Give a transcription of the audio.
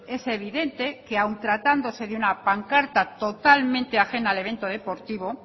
es evidente que aun tratándose de una pancarta totalmente ajena al evento deportivo